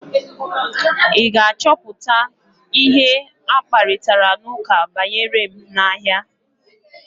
Ị ga-achọpụta ihe akparitara n'ụka banyere m n'ahịa?